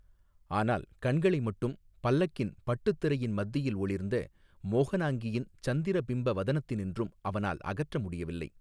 ஆனால் கண்களை மட்டும் பல்லக்கின் பட்டுத் திரையின் மத்தியில் ஒளிர்ந்த மோஹனாங்கியின் சந்திர பிம்ப வதனத்தினின்றும் அவனால் அகற்ற முடியவில்லை.